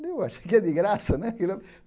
Daí eu, achei que era de graça né.